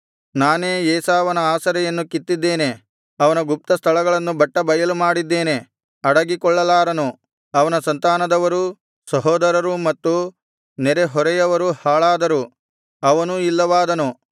ನಾನೇ ಏಸಾವನ ಆಸರೆಯನ್ನು ಕಿತ್ತಿದ್ದೇನೆ ಅವನ ಗುಪ್ತಸ್ಥಳಗಳನ್ನು ಬಟ್ಟಬಯಲುಮಾಡಿದ್ದೇನೆ ಅಡಗಿಕೊಳ್ಳಲಾರನು ಅವನ ಸಂತಾನದವರೂ ಸಹೋದರರೂ ಮತ್ತು ನೆರೆಹೊರೆಯವರೂ ಹಾಳಾದರು ಅವನೂ ಇಲ್ಲವಾದನು